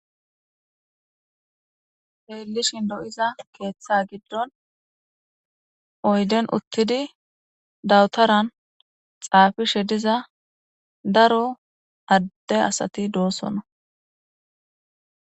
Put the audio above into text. Xelishn lo'za Ketha gidon oyden utid dawutaran xafishe diza daro Ade asat dosona.